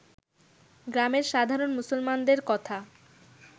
গ্রামের সাধারণ মুসলমানদের কথা